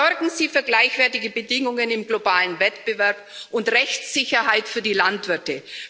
Sorgen Sie für gleichwertige Bedingungen im globalen Wettbewerb und Rechtssicherheit für die Landwirte.